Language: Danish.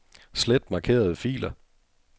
Slet markerede filer.